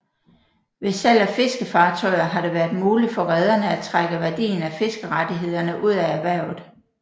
Ved salg af fiskefartøjer har det været muligt for rederne at trække værdien af fiskerettighederne ud af erhvervet